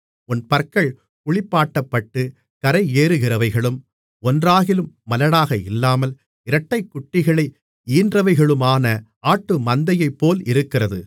உன் பற்கள் குளிப்பாட்டப்பட்டுக் கரையேறுகிறவைகளும் ஒன்றாகிலும் மலடாக இல்லாமல் இரட்டைக்குட்டிகளை ஈன்றவைகளுமான ஆட்டுமந்தையைப்போல் இருக்கிறது